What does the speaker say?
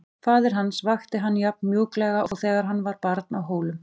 Faðir hans vakti hann jafn mjúklega og þegar hann var barn á Hólum.